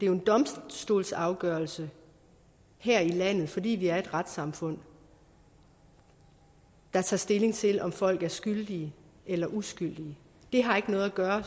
jo en domstolsafgørelse her i landet fordi vi er et retssamfund der tager stilling til om folk er skyldige eller uskyldige det har ikke noget at gøre